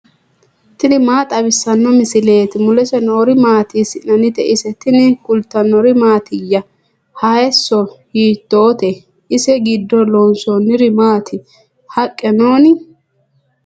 tini maa xawissanno misileeti ? mulese noori maati ? hiissinannite ise ? tini kultannori mattiya? hayiiso hiittotte? ise giddo loonsoonniri maatti? haqqe noonni?